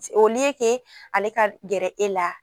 O liye ke ale ka gɛrɛ e la